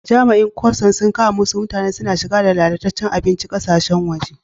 Jami'in custom sun kama wassu mutane suna shigar da lallacecen abincin kasashen waje.